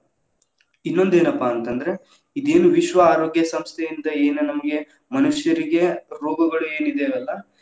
ಇನ್ನೊಂದ್ ಏನಪ್ಪಾ ಅಂತಂದ್ರ ಇದ ಏನ್‌ ವಿಶ್ವ ಆರೋಗ್ಯ ಸಂಸ್ಥೆ ಅಂತಾ ಏನ್‌ ನಮಗೆ ಮನುಷ್ಯರಿಗೆ ರೋಗಗಳು ಏನ್‌ ಇದೆಯಲ್ಲಾ.